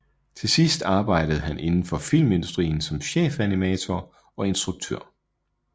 Til sidst arbejdede han indenfor filmindustrien som chefanimator og instruktør